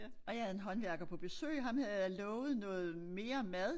Og jeg havde en håndværker på besøg ham havde jeg lovet noget mere mad